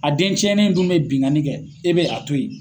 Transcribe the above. A dencɛnnen in dun bɛ binkani kɛ e bɛ a to ye.